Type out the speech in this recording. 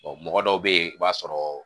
mɔgɔ dɔw bɛ yen i b'a sɔrɔ.